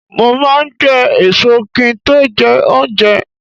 Mo máa n je èso ki n to jé oúnje